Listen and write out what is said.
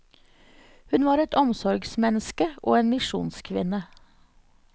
Hun var et omsorgsmenneske og en misjonskvinne.